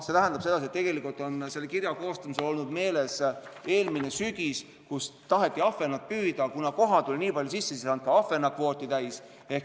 See tähendab, et kirja koostajal on olnud meeles eelmine sügis, kui taheti ahvenat püüda, aga kuna koha tuli nii palju sisse, siis ei saanud ka ahvenakvooti täis.